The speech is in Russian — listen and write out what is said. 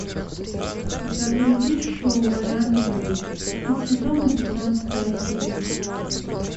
загрузи шоу оранжевый хит сезона пятнадцатая серия